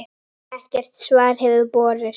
Ekkert svar hefur borist.